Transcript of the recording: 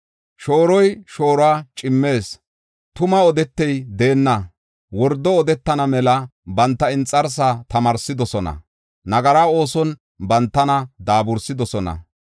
Shooroy shooruwa cimmees; tuma odetey deenna. Wordo odetana mela banta inxarsaa tamaarsidosona; nagara oosona bantana daabursidosona.